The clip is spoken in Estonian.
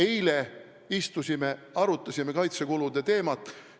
Eile me istusime ja arutasime kaitsekulude teemat.